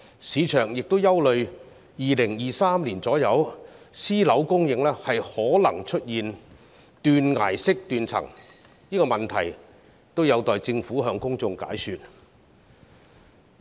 市場亦憂慮到了2023年左右，私樓供應可能出現斷崖式斷層，這個問題也有待政府向公眾解說。